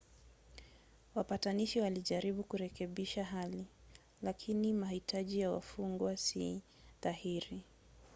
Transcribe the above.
wapatanishi walijaribu kurekebisha hali lakini mahitaji ya wafungwa si dhahiri